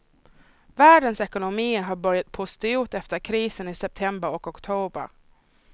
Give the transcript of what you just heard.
Världens ekonomier har börjat pusta ut efter krisen i september och oktober.